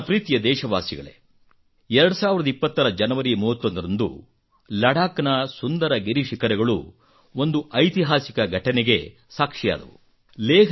ನನ್ನ ಪ್ರೀತಿಯ ದೇಶವಾಸಿಗಳೇ 2020 ರ ಜನವರಿ 31 ರಂದು ಲದ್ದಾಖ್ ನ ಸುಂದರ ಗಿರಿಶಿಖರಗಳು ಒಂದು ಐತಿಹಾಸಿಕ ಘಟನೆಗೆ ಸಾಕ್ಷಿಯಾದವು